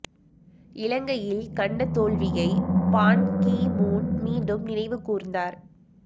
இலங்கையில் கண்ட தோல்வியை பான் கீ மூன் மீண்டும் நினைவு கூர்ந்தார்